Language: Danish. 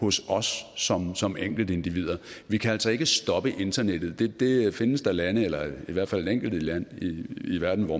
hos os som som enkeltindivider vi kan altså ikke stoppe internettet det findes der lande eller i hvert fald et enkelt land i verden